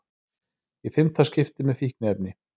Í fimmta skipti með fíkniefni